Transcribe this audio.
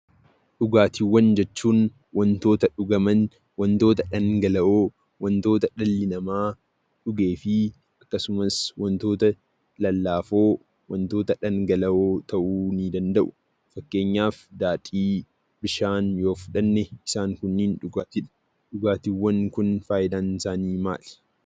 Dhugaatiiwwan jechuun wantoota dhugaman, wantoota dhangala'oo, wantoota dhalli namaa dhugee fi akkasumas wantoota lallaafoo dhangala'oo ta'uu nii danda'u. Fakkeenyaf daadhii, bishaan yoo fudhanne isaan kunniin dhugaatiidha. Dhugaatiiwwan kun faayidaansaanii maali?